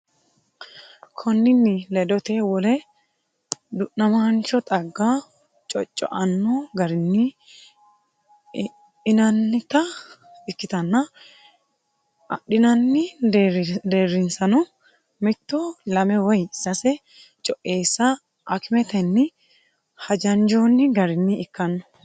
Konninni ledoteno wole du’namaancho xagga cocco’anno garinni inannita ikkitanna adhinanni deerrinsano mitto, lame woy sase co’eessa akimetenni hajanjoonni garinni ikkanno.